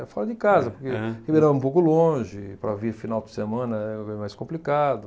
Fora de casa, porque Ribeirão é um pouco longe, para vir final de semana é, é mais complicado.